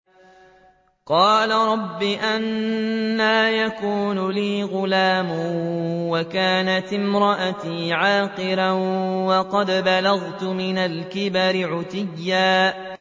قَالَ رَبِّ أَنَّىٰ يَكُونُ لِي غُلَامٌ وَكَانَتِ امْرَأَتِي عَاقِرًا وَقَدْ بَلَغْتُ مِنَ الْكِبَرِ عِتِيًّا